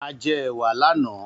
A jẹ ẹ̀wà lánàá.